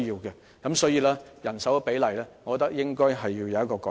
因此，我認為在人手比例上應作出改善。